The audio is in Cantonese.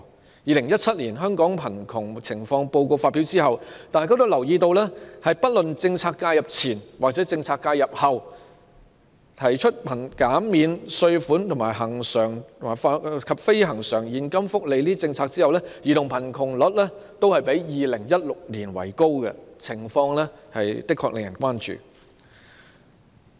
在《2017年香港貧窮情況報告》發表後，大家均留意到，不論是政策介入前或政策介入後，在扣除稅項和計及恆常及非恆常現金福利等政策後，兒童貧窮率均較2016年為高，情況的確令人關注。